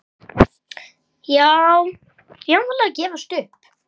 Já, jafnvel að gefast upp.